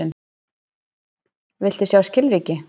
Viltu fá skilríki?